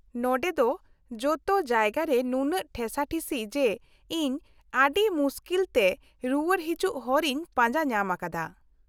-ᱱᱚᱸᱰᱮ ᱫᱚ ᱡᱚᱛᱚ ᱡᱟᱭᱜᱟ ᱨᱮ ᱱᱩᱱᱟᱹᱜ ᱴᱷᱮᱥᱟᱴᱷᱤᱥᱤ ᱡᱮ ᱤᱧ ᱟᱹᱰᱤ ᱢᱩᱥᱠᱤᱞᱛᱮ ᱨᱩᱣᱟᱹᱲ ᱦᱤᱡᱩᱜ ᱦᱚᱨᱤᱧ ᱯᱟᱸᱡᱟ ᱧᱟᱢ ᱟᱠᱟᱫᱟ ᱾